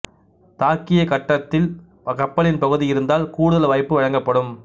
தாக்கிய கட்டத்தில் கப்பலின் பகுதி இருந்தால் கூடுதல் வாய்ப்பு வழங்கப்படும்